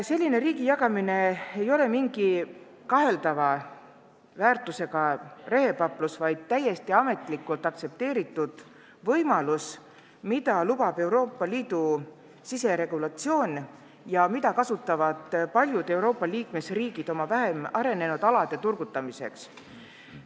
Selline riigi jagamine ei ole mingi kaheldava väärtusega rehepaplus, vaid täiesti ametlikult aktsepteeritud võimalus, mida lubab Euroopa Liidu siseregulatsioon ja mida kasutavad paljud Euroopa liikmesriigid oma vähem arenenud alade turgutamiseks.